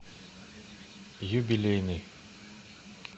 юбилейный